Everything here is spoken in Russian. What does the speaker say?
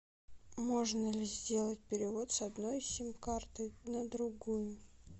можно ли сделать перевод с одной сим карты на другую